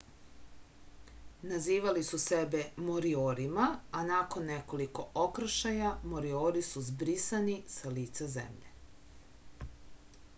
nazivali su sebe moriorima a nakon nekoliko okršaja moriori su zbrisani sa lica zemlje